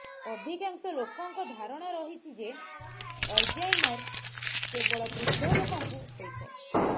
ଅଧିକାଂଶ ଲୋକଙ୍କ ଧାରଣା ରହିଛି ଯେ ଅଲ୍ଜାଇମର କେବଳ ବୃଦ୍ଧଲୋକଙ୍କୁ ହୋଇଥାଏ